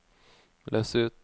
løs ut